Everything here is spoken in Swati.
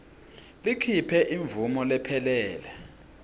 likhiphe imvumo lephelele